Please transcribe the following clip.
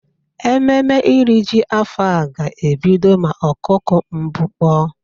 Ememe iri ji afọ a ga-ebido ma ọkụkụ mbụ kpọ.